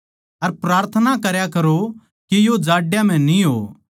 अर प्रार्थना करया करो के यो जाड्यां म्ह न्ही हो